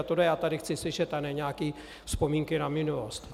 A tohle já tady chci slyšet a ne nějaké vzpomínky na minulost.